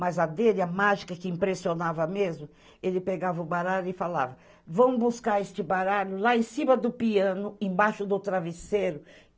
Mas a dele, a mágica que impressionava mesmo, ele pegava o baralho e falava, vamos buscar este baralho lá em cima do piano, embaixo do travesseiro.